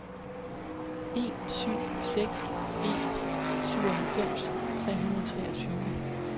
en syv seks en syvoghalvfems tre hundrede og treogtyve